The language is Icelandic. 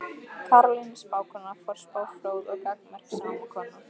Karolína spákona, forspá fróð og gagnmerk sómakona.